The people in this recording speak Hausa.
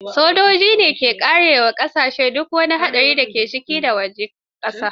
Sojoji ne ke kare wa ƙasashe duk wani hari da ga ciki da wajen ƙasar.